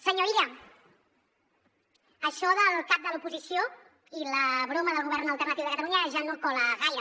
senyor illa això del cap de l’oposició i la broma del govern alternatiu de catalunya ja no cola gaire